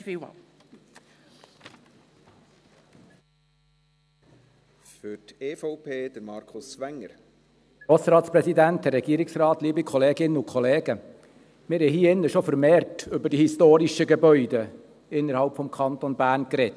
Wir haben hier innen schon vermehrt über die historischen Gebäude innerhalb des Kantons Bern gesprochen.